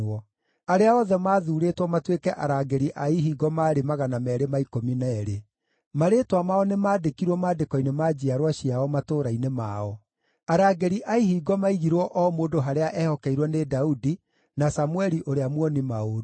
Arĩa othe maathuurĩtwo matuĩke arangĩri a ihingo maarĩ 212. Marĩĩtwa mao nĩmandĩkirwo maandĩko-inĩ ma njiarwa ciao, matũũra-inĩ mao. Arangĩri a ihingo maigirwo o mũndũ harĩa ehokeirwo nĩ Daudi na Samũeli ũrĩa muoni-maũndũ.